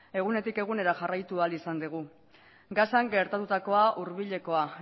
egunetik egunera jarraitu ahal izan degu gazan gertatutakoa hurbilekoa